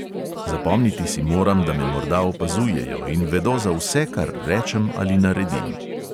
Zapomniti si moram, da me morda opazujejo in vedo za vse, kar rečem ali naredim.